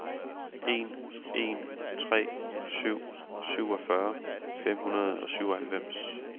en en tre syv syvogfyrre fem hundrede og syvoghalvfems